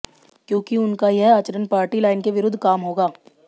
क्योंकि उनका यह आचरण पार्टी लाइन के विरुद्ध काम होगा